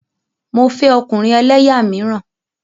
Mo fẹ́ ọkùnrin ẹlẹ́yà míràn.